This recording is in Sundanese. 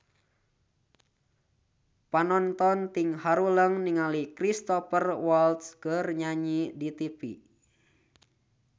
Panonton ting haruleng ningali Cristhoper Waltz keur nyanyi di tipi